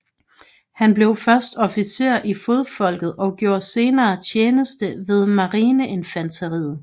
Han blev først officer i fodfolket og gjorde senere tjeneste ved marineinfanteriet